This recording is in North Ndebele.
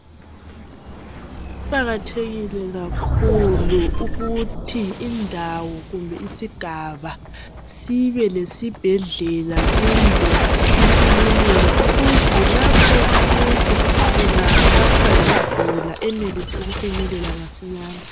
Kuqakathekile kakhulu ukuthi indawo kumbe isigaba sibe lesibhedlela kumbe ikilinika ukuthi lapho umuntu engaphathwa yikugula enelise ukufinyelela masinyane.